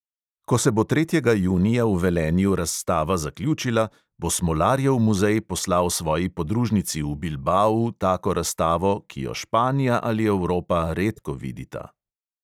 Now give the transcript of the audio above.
Ko se bo tretjega junija v velenju razstava zaključila, bo smolarjev muzej poslal svoji podružnici v bilbau tako razstavo, ki jo španija ali evropa redko vidita.